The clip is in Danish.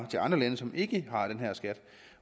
til andre lande som ikke har den her skat